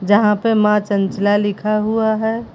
जहां पे मां चंचला लिखा हुआ है।